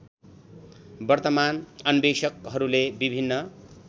वर्तमान अन्वेषकहरूले विभिन्न